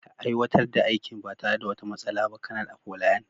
Ka aiwatar da aikin ba tare da wata matsala ba, Kanar Afolayan.